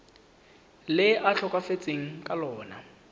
le a tlhokafetseng ka lona